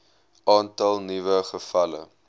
aantal nuwe gevalle